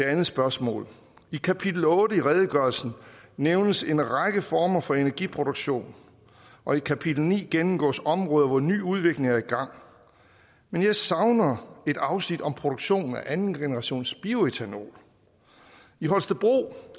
andet spørgsmål i kapitel otte i redegørelsen nævnes en række former for energiproduktion og i kapitel ni gennemgås områder hvor ny udvikling er i gang men jeg savner et afsnit om produktion af andengenerations bioætanol i holstebro